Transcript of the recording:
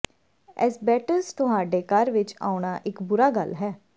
asbestos ਤੁਹਾਡੇ ਘਰ ਵਿੱਚ ਆਉਣਾ ਇੱਕ ਬੁਰਾ ਗੱਲ ਹੈ